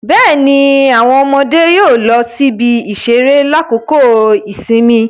Bẹẹni, awọn ọmọde yóò lọ sí ibi-iṣere lakoko ìsinmi